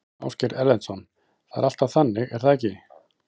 Ásgeir Erlendsson: Það er alltaf þannig er það ekki?